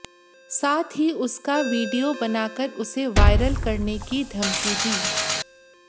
साथ ही उसका वीडियो बनाकर उसे वायरल करने की धमकी दी